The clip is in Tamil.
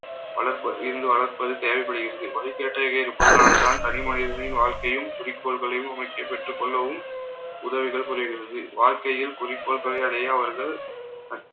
வளர்ப~ இருந்து வளர்ப்பது தேவைப்படுகிறது. இருப்பதனால்தான் தனி மனிதனின் வாழ்க்கையும் குறிக்கோள்களையும் அமைக்கப் பெற்றுக் கொள்ளவும் உதவிகள் குறைகிறது. வாழ்க்கையில் குறிக்கோள்களை அடைய அவர்கள்